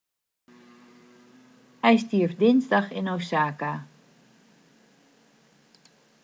hij stierf dinsdag in osaka